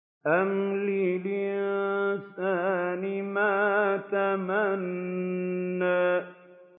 أَمْ لِلْإِنسَانِ مَا تَمَنَّىٰ